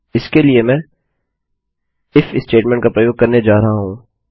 इसके लिए मैं इफ स्टेटमेंट का प्रयोग करने जा रहा हूँ